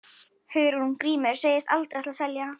Hugrún: Grímur segist aldrei ætla að selja?